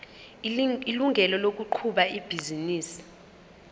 ilungelo lokuqhuba ibhizinisi